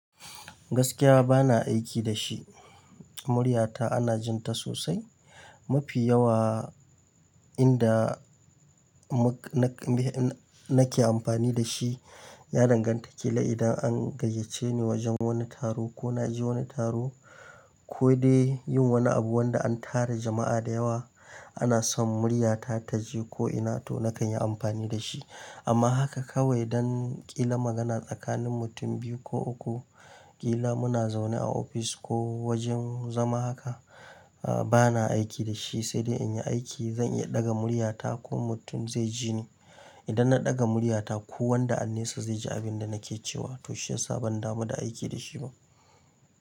Gaskiya ba na aiki da shi. Muryata ana jin ta sosai. Mafi yawa inda nake amfani da shi ya danganta ƙila idan an gayyace ni wajen wani taro ko na je wani taro ko dai yin wani abu wanda an tara jama'a da yawa ana son muryata ta je ko ina to na kan yi amfani da shi. Amma haka kawai don ƙila magana tsakanin mutum biyu ko uku, ƙila muna zaune a office ko wajen zama haka, ba na aiki da shi sai dai in yi aiki zan iya ɗaga muryata ko mutum zai ji ni. Idan na ɗaga muryata ko wanda an nesa zai ji abin da nake cewa to shiyasa ban damu da aiki da shi ba.